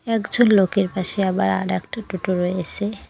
একজন লোকের পাশে আবার আরেকটা টোটো রয়েসে।